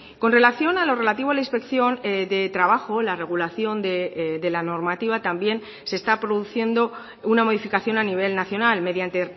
con relación a lo relativo a la inspección de trabajo la regulación de la normativa también se está produciendo una modificación a nivel nacional mediante